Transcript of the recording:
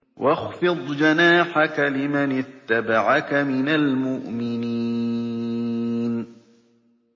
وَاخْفِضْ جَنَاحَكَ لِمَنِ اتَّبَعَكَ مِنَ الْمُؤْمِنِينَ